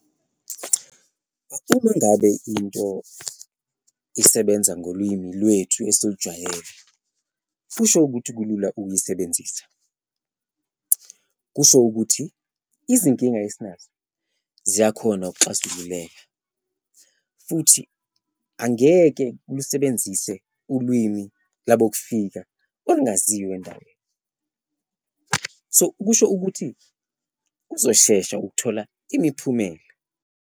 Uma ngabe into isebenza ngolwimi lwethu esilujwayele kusho ukuthi kulula ukuyisebenzisa, kusho ukuthi izinkinga esinazo ziyakhona ukuxazululeka futhi angeke lusebenzise ulwimi labokufika olungeziwa endaweni so, kusho ukuthi kuzoshesha ukuthola imiphumela.